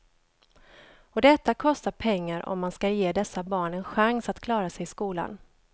Och detta kostar pengar om man skall ge dessa barn en chans att klara sig i skolan.